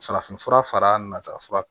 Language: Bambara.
Farafinfura fara nanzarafura kan